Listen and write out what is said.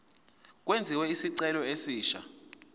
kwenziwe isicelo esisha